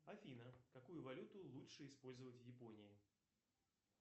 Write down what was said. афина какую валюту лучше использовать в японии